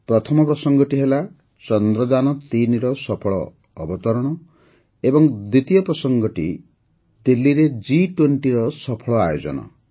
ପ୍ରଥମ ପ୍ରସଙ୍ଗଟି ହେଲା ଚନ୍ଦ୍ରଯାନ୩ ର ସଫଳ ଅବତରଣ ଏବଂ ଦ୍ୱିତୀୟ ପ୍ରସଙ୍ଗଟି ହେଲା ଦିଲ୍ଲୀରେ ଜି୨୦ର ସଫଳ ଆୟୋଜନ